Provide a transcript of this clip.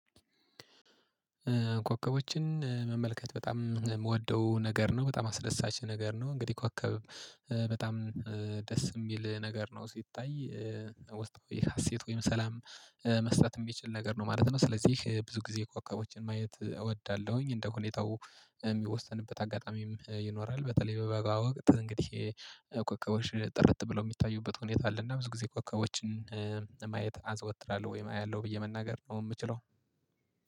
ኮከቦችን መመልከት በጣም የምወደው ነገር ነው። በጣም አስደሳች ነገር ነው። እንግዲህ ኮከብ በጣም ደስ የሚል ነገር ነው ሲታይ። ወስጥ ወይ ሀሴት ወይም ሰላም መስጠት የሚችል ነገር ነው ማለት ነው። ስለዚህ ብዙ ጊዜ ኮከቦችን ማየት እወዳለሁኝ። እንደ ሁኔታው የሚወስተንበት አጋጣሚም ይኖራል። በተለይ በበጋ ወቅት እንግዲህ ኮከቦች ጥርት ብለው የሚታዩበት ሁኔታ አለ። እና ብዙ ጊዜ ኮከቦችን ማየት አዘወትራለሁ ወይም አያለሁ ብዬ መናገር ነው የምችለው።